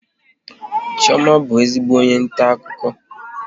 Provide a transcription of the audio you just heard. Chioma bụ ezigbo onye nta akụkọ